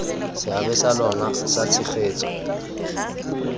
seabe sa lona sa tshegetso